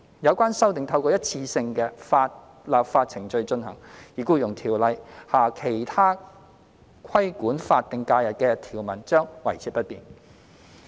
有關修訂透過一次性的立法程序進行，而《僱傭條例》下其他規管法定假日的條文將維持不變。